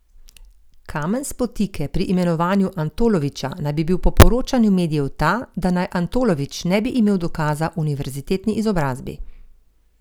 Kamen spotike pri imenovanju Antoloviča naj bi bil po poročanju medijev ta, da naj Antolovič ne bi imel dokaza o univerzitetni izobrazbi.